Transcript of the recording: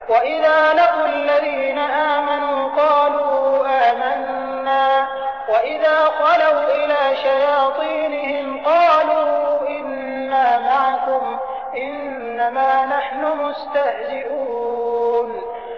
وَإِذَا لَقُوا الَّذِينَ آمَنُوا قَالُوا آمَنَّا وَإِذَا خَلَوْا إِلَىٰ شَيَاطِينِهِمْ قَالُوا إِنَّا مَعَكُمْ إِنَّمَا نَحْنُ مُسْتَهْزِئُونَ